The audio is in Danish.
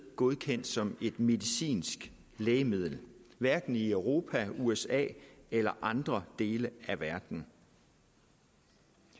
godkendt som et medicinsk lægemiddel hverken i europa usa eller andre dele af verden